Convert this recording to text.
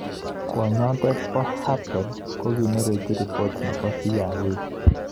Kwonyotom Habel kokinerekchi ripot nepo CI A